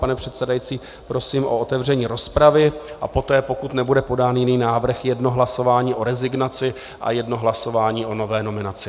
Pane předsedající, prosím o otevření rozpravy a poté, pokud nebude podán jiný návrh, jedno hlasování o rezignaci a jedno hlasování o nové nominaci.